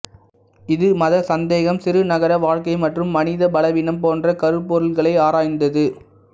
இது மத சந்தேகம் சிறு நகர வாழ்க்கை மற்றும் மனித பலவீனம் போன்ற கருப்பொருள்களை ஆராய்ந்தது